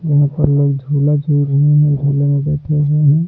यहां पर लोग झूला झूल रहे हैं झूले में बैठे हुए हैं।